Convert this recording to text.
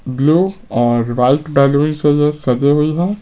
Blue और white balloon से ये सजे हुई हैं।